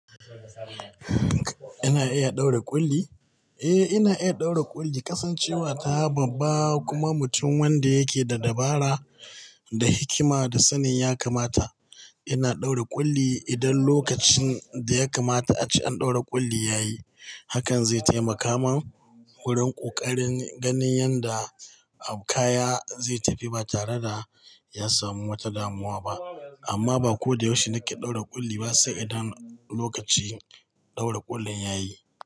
Ina iya ɗaura ƙulli? Eh, ina iya ɗaura ƙulli, kasancewa ta babba kuma mutum wanda yake da dabara, da hikima da sanin ya kamata. Ina ɗaura ƙulli idan lokacin da ya kamata ace an ɗaura ƙulli yayi. Hakan zai taimaka man wurin ƙoƙarin ganin yadda kaya zai tafi ba tare da ya samu wata damuwa ba. Amma ba ko da yaushe nake ɗaura ƙulli ba sai idan lokacin ɗaura ƙullin yayi.